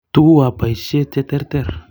Tuguu ab boisiet cheterter.